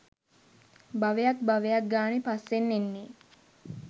භවයක් භවයක් ගානේ පස්සෙන් එන්නේ